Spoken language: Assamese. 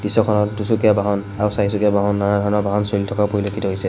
দৃশ্যখনত দুচকীয়া বাহন আৰু চাৰিচকীয়া বাহন নানা ধৰণৰ বাহন চলি থকা পৰিলেক্ষিত হৈছে।